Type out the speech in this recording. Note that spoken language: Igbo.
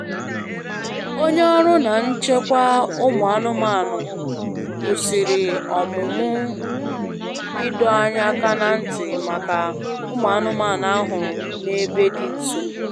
Onye ọrụ na echekwa ụmụ anụmanụ kwụsịrị ọmụmụ ị dọ anyị aka na ntị maka ụmụ anụmanụ a hụrụ na ebe dị nso